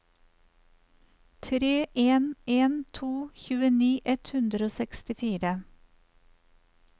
tre en en to tjueni ett hundre og sekstifire